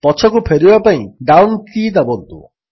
ପଛକୁ ଫେରିବା ପାଇଁ ଡାଉନ୍ କୀ ଦାବନ୍ତୁ